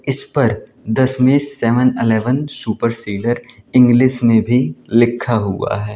इस पर Dashmesh seven eleven super seller English में भी लिखा हुआ है।